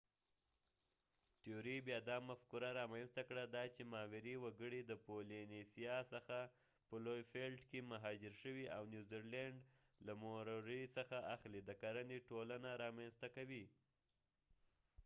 تیوري بیا دا مفکوره رامینځته کړه دا چې ماوري وګړي د پولینیسیا څخه په لوی فیلټ کې مهاجر شوي او نیوزیلینډ له موروري څخه اخلي د کرنې ټولنه رامینځته کوي